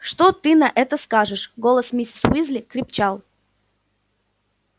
что ты на это скажешь голос миссис уизли крепчал